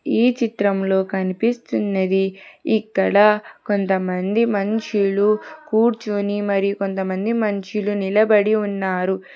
ఈ చిత్రంలో కనిపిస్తున్నది ఇక్కడ కొంతమంది మనుషులు కూర్చుని మరి కొంతమంది మనుషులు నిలబడి ఉన్నారు.